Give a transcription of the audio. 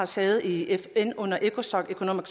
sæde i fn under ecosoc economic